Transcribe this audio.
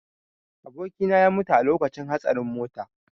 Abokina ya mutu a lokacin hatsarin motar.